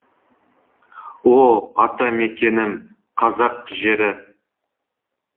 о ата мекенім қазақ жері